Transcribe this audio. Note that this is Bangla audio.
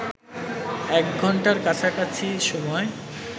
এক ঘণ্টার কাছাকাছি সময়